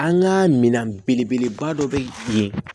An ka minɛn belebeleba dɔ bɛ yen